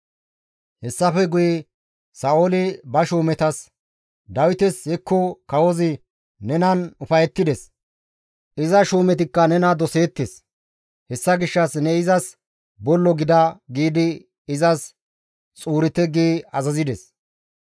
Hessafe guye Sa7ooli ba shuumetas, «Dawites, ‹Hekko kawozi nenan ufayettides; iza shuumetikka nena doseettes; hessa gishshas ne izas bollo gida› giidi izas xuurite» gi azazides.